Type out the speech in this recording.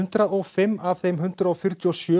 hundrað og fimm af þeim hundrað fjörutíu og sjö